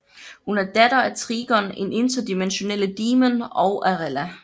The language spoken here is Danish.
Hun er datter af Trigon en interdimensionelle demon og Arella